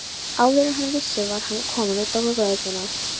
Áður en hann vissi var hann kominn út á götuna.